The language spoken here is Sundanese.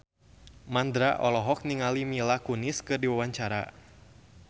Mandra olohok ningali Mila Kunis keur diwawancara